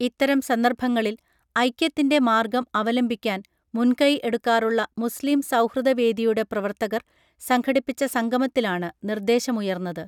ഇത്തരം സന്ദർഭങ്ങളിൽ ഐക്യത്തിൻ്റെ മാർഗം അവലംബിക്കാൻ മുൻകൈ എടുക്കാറുള്ള മുസ്ലിം സൗഹൃദ വേദിയുടെ പ്രവർത്തകർ സംഘടിപ്പിച്ച സംഗമത്തിലാണ് നിർദേശമുയർന്നത്